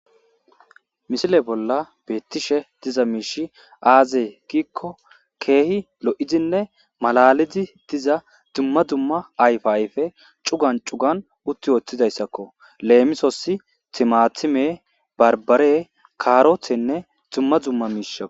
Misile bolla beettiza miishshii azee gikko keehi lo'oidinne malalidi bettiza dumma dumma ayfa ayfe cuggan cuggan uttii woththidaysskko lemisos timatime barbare karotenne dumma dumma miishshata